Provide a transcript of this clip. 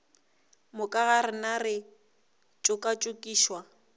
moka ga rena re tšokatšokišwa